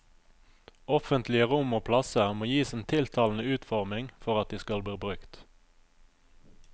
Offentlige rom og plasser må gis en tiltalende utforming for at de skal bli brukt.